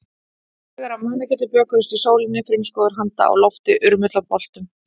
Haugar af mannakjöti bökuðust í sólinni, frumskógur handa á lofti, urmull af boltum.